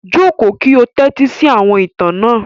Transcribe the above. Jókò ki ó tẹtisi àwọn ìtan náà!